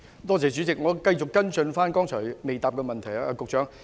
代理主席，我想繼續跟進局長剛才未答覆的補充質詢。